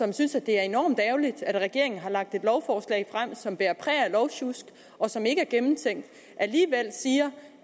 de synes det er enormt ærgerligt at regeringen har lagt et lovforslag frem som bærer præg af lovsjusk og som ikke er gennemtænkt siger